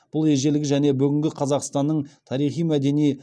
бұл ежелгі және бүгінгі қазақстанның тарихи мәдени